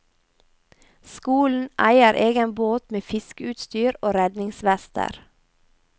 Skolen eier egen båt med fiskeutstyr og redningsvester.